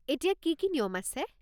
এতিয়া কি কি নিয়ম আছে?